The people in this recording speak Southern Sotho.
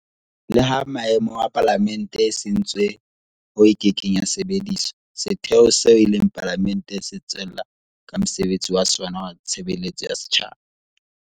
Leha meaho ya Palamente e sentswe hoo e kekeng ya sebediswa, setheo seo e leng Palamente se tswella ka mosebetsi wa sona wa tshebeletso ya setjhaba.